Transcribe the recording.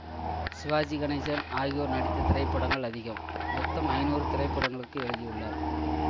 சிவாஜி கணேசன் ஆகியோர் நடித்த திரைப்படங்கள் அதிகம் மொத்தம் ஐநூறு திரைப்படங்களுக்கு எழுதியுள்ளார்